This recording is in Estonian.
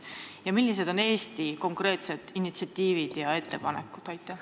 Ja millised on Eesti konkreetsed initsiatiivid ja ettepanekud?